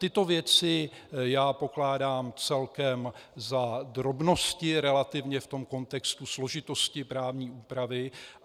Tyto věci já pokládám celkem za drobnosti relativně v tom kontextu složitosti právní úpravy.